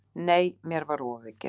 Nei, mér var ofaukið.